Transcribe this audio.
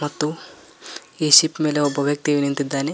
ಮತ್ತು ಈ ಶಿಪ್ ಮೇಲೆ ಒಬ್ಬ ವ್ಯಕ್ತಿ ನಿಂತಿದ್ದಾನೆ.